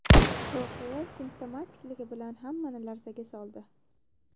Voqea simptomatikligi bilan hammani larzaga soldi.